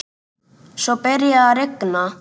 Svo byrjaði að rigna.